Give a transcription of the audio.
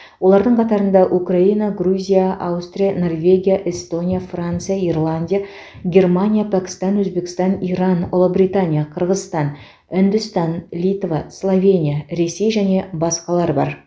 олардың қатарында украина грузия аустрия норвегия эстония франция ирландия германия пәкістан өзбекстан иран ұлыбритания қырғызстан үндістан литва словения ресей және басқалар бар